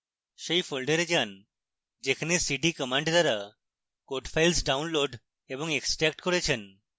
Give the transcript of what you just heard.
সেই folder যান যেখানে cd command দ্বারা code files ডাউনলোড এবং এক্সট্র্যাক্ট করেছেন